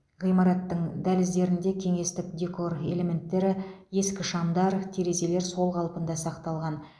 ғимараттың дәліздерінде кеңестік декор элементтері ескі шамдар терезелер сол қалпында сақталған